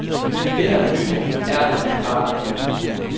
Det, der er nyt, er, at vi praler af det.